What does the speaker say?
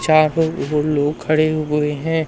चार लोग वो लोग खड़े हुए है।